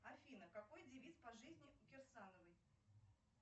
афина какой девиз по жизни у кирсановой